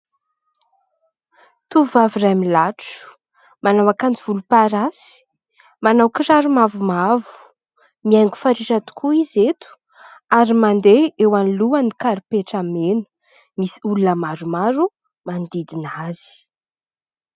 Tovovavy iray milatro, manao akanjo volomparasy, manao kiraro mavomavo, mihaingo fatratra tokoa izy eto ary mandeha eo anoloan'ny karipetra mena, misy olona maromaro manodidina azy.